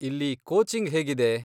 ಇಲ್ಲಿ ಕೋಚಿಂಗ್ ಹೇಗಿದೆ?